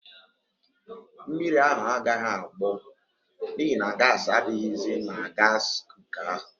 Mmiri ahụ agaghị agbọ n'ihi na gaasị adịghịzi na gaasị kuka ahụ.